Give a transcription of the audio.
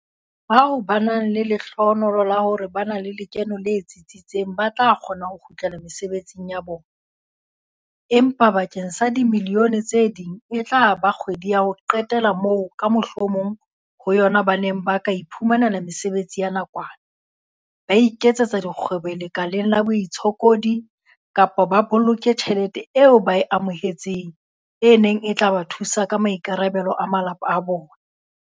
Bao ba nang le lehlohonolo la hore ba na le lekeno le tsitsitseng ba tla kgona ho kgutlela mesebetsing ya bona, empa bakeng sa dimilione tse ding ena e tla ba kgwedi ya ho qetela moo ka mohlomong ho yona ba neng ba ka iphumanela mesebetsi ya nakwana, ba iketsetsa dikgwebo lekaleng la baitshokodi kapa ba boloke tjhelete eo ba e amohe-tseng e neng e tla ba thusa ka maikarabelo a malapa a bona.